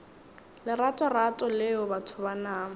leratorato leo batho ba nama